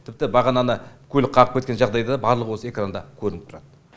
тіпті бағананы көлік қағып кеткен жағдайда барлығы осы экранда көрініп тұрады